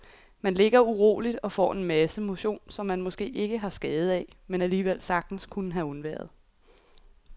Man ligger uroligt og får en masse motion, som man måske ikke har skade af, men alligevel sagtens kunne have undværet.